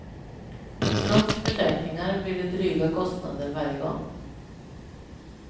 Trots försäkringar blir det dryga kostnader varje gång.